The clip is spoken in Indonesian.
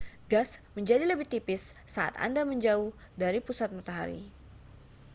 gas menjadi lebih tipis saat anda semakin jauh dari pusat matahari